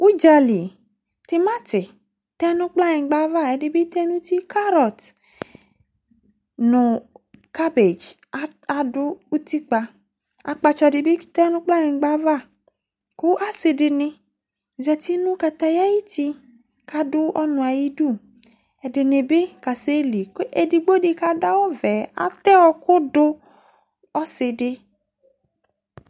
oudjali timati tɛ nʊ kplanyikpava ɛdibitenuti karotɛ nu kabédji ɑdu outikpa ɑkpatsɔ ɖibité nu kplanyikpɑ vɑ ku ɑsidini zati nukatayayuti kadu ɔnuayidu ɛdinibi kaseli ɛdigbodi kɑduawuve ɑteɔkudu ɔsidi